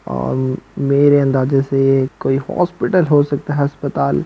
और मेरे अंदाजे से कोई हॉस्पिटल हो सकता हैं अस्पताल।